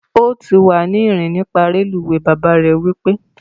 O ti wa ni rin nipa reluwe! baba re wipe